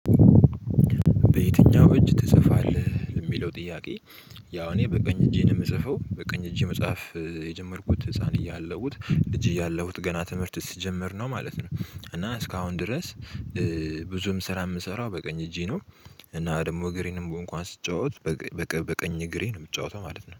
በየትኛው እጅ ትጽፋለህ የሚለው ጥያቄ? ያው እኔ በቀኝ እጄን የምጽፈው በቀኝ እጄ መጽሐፍ የጀመርኩት ህፃን እያለሁት እጅ እያለሁት ገና ትምህርት ስጀምር ነው ማለት ነው። እና እስካሁን ድረስ ብዙም ስራ የምሰራው በቀኝ እጄ ነው። እና ደግሞ እግሬንም እንኳን ስትጫወት በቀኝ እግሬ ነው የምጫወተው ማለት ነው